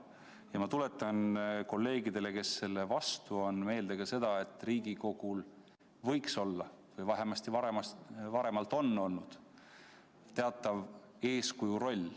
Ja ma tuletan kolleegidele, kes selle vastu on, meelde ka seda, et Riigikogul võiks olla ja varemalt ongi olnud teatav eeskuju roll.